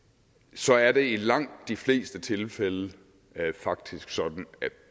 så er det i langt de fleste tilfælde faktisk sådan at